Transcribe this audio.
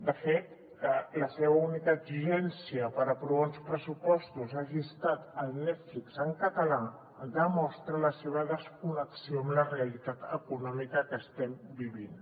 de fet que la seva única exigència per aprovar uns pressupostos hagi estat el netflix en català demostra la seva desconnexió amb la realitat econòmica que estem vivint